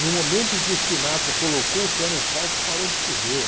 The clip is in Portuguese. No momento em que o Sinatra colocou o pé no palco, parou de chover.